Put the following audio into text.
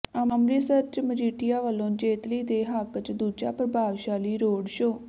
ਅੰਮ੍ਰਿਤਸਰ ਚ ਮਜੀਠੀਆ ਵਲੋਂ ਜੇਤਲੀ ਦੇ ਹੱਕ ਚ ਦੂਜਾ ਪ੍ਰਭਾਵਸ਼ਾਲੀ ਰੋਡ ਸ਼ੋਅ